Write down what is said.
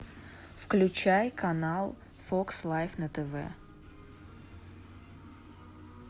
включай канал фокс лайф на тв